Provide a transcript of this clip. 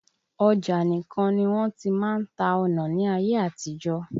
Ọjà nìkan ní wọ́n ti máa ń ta ọnà ní ayé àtijọ́.